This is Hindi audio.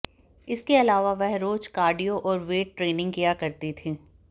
इसके अलावा वह रोज कार्डियो और वेट ट्रेनिंग किया करती थीं